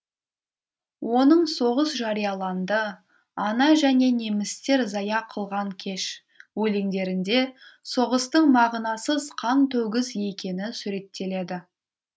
оның соғыс жарияланды ана және немістер зая кылған кеш өлеңдерінде соғыстың мағынасыз қантөгіс екені суреттеледі